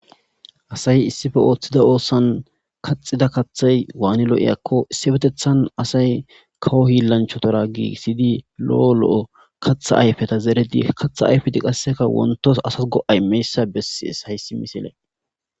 Asay issife ooththida oossan kaxida kaththay waani lo'i akko issi betethan asay kawo hillanchotora gii siydi lo'o lo'o katha ayfeta zeredi katha ayfedi qasseka wontos asas go'ay meyssa bessies hayssi misile.